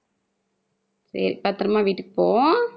சரி பத்திரமா வீட்டுக்கு போ.